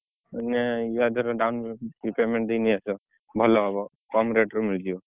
ମାନେ ୟାଧେରେ down payment ଦେଇକି ନେଇଆସ ଭଲହବ କମ୍ rate ରେ ମିଳିଯିବ।